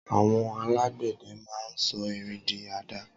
Awọn àlágbẹdẹ mà n sọ ìrín di àdàá